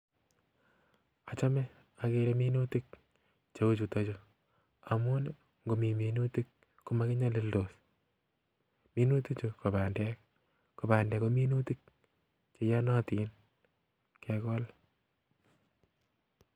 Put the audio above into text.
Achome ageere minutik cheuchuton chu amun ngomi minutia komokinyolildos, minutik ko bandek cheiyonotin kegool